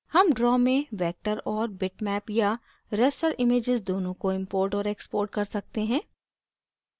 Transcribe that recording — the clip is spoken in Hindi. हम draw में vector और बिटमैप या raster images दोनों को import और export कर सकते हैं